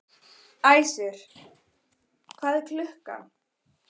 Æsir, hvað er klukkan?